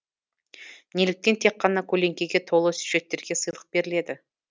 неліктен тек қана көлеңкеге толы сюжеттерге сыйлық беріледі